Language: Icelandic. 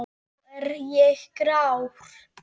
Nú er ég grár.